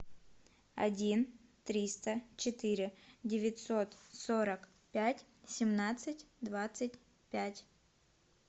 один триста четыре девятьсот сорок пять семнадцать двадцать пять